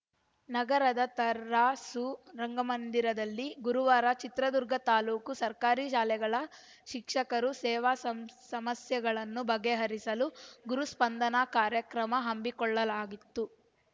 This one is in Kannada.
ನಗರದ ತರಾಸು ರಂಗಮಂದಿರಲ್ಲಿ ಗುರುವಾರ ಚಿತ್ರದುರ್ಗ ತಾಲೂಕು ಸರ್ಕಾರಿ ಶಾಲೆಗಳ ಶಿಕ್ಷಕರ ಸೇವಾ ಸಂ ಸಮಸ್ಯೆಗಳನ್ನು ಬಗೆಹರಿಸಲು ಗುರುಸ್ಪಂದನಾ ಕಾರ್ಯಕ್ರಮ ಹಮ್ಮಿಕೊಳ್ಳಲಾಗಿತ್ತು